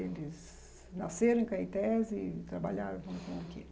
Eles nasceram em Caetés e trabalharam com o quê?